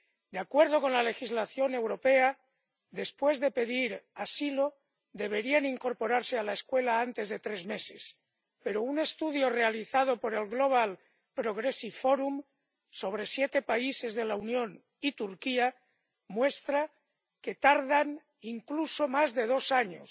De acuerdo con la legislación europea, después de pedir asilo deberían incorporarse a la escuela antes de tres meses, pero un estudio realizado por Global Progressive Forum sobre siete países de la Unión y Turquía muestra que tardan incluso más de dos años